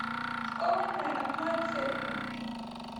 скованные одной цепью